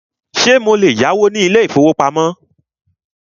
Ṣé mo lè yáwó ní ilé ìfọwọ́pamo?